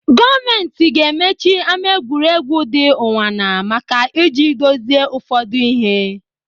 Gọọmenti ga-emechi ama egwuregwu dị Ụnwana maka ị ji dozie ụfọdụ ihe.